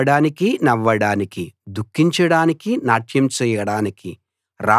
ఏడవడానికీ నవ్వడానికీ దుఃఖించడానికీ నాట్యం చేయడానికీ